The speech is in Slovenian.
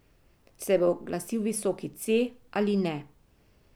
Se bo oglasil visoki C ali ne?